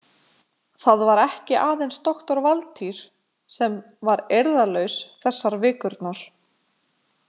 Það var ekki aðeins doktor Valtýr sem var eirðarlaus þessar vikurnar.